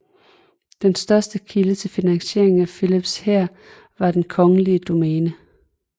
Den største kilde til finansiering af Filips hær var det kongelige domæne